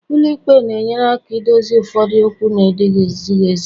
ụlọ ikpe na-enyere aka dozie ụfọdụ okwu na-ezighị ezi